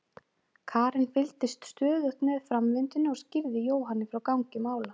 Karen fylgdist stöðugt með framvindunni og skýrði Jóhanni frá gangi mála.